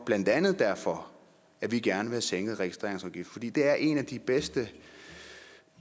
blandt andet derfor at vi gerne vil have sænket registreringsafgiften for det er en af de bedste